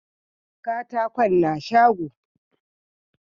katakon na shago